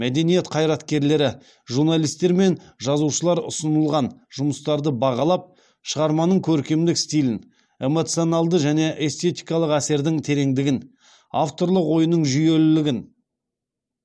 мәдениет қайраткерлері журналистер мен жазушылар ұсынылған жұмыстарды бағалап шығарманың көркемдік стилін эмоционалды және эстетикалық әсердің тереңдігін авторлар ойының жүйелілігін